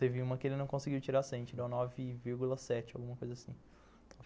Teve uma que ele não conseguiu tirar cem, tirou nove vírgula sete, alguma coisa assim.